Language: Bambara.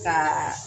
Ka